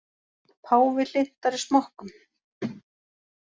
Páfi hlynntari smokkum